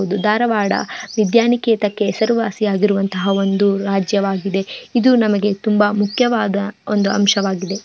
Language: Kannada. ಇದು ಧಾರವಾಡ ವಿದ್ಯಾನಿಕೇತಕ್ಕೆ ಹೆಸರುವಾಸಿಯಾಗಿರುವಂತಹ ಒಂದು ರಾಜ್ಯವಾಗಿದೆ. ಇದು ನಮಗೆ ತುಂಬಾ ಮುಖ್ಯವಾದ ಒಂದು ಅಂಶವಾಗಿದೆ.